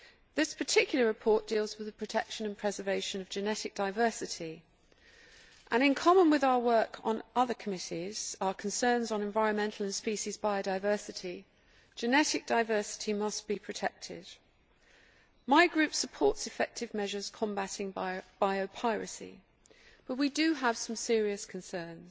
This particular report deals with the protection and preservation of genetic diversity and in common with our work on other committees, our concerns on environmental and species biodiversity, genetic diversity must be protected. My group supports effective measures combating bio piracy but we do have some serious concerns.